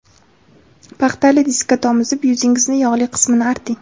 Paxtali diskka tomizib, yuzingizni yog‘li qismini arting.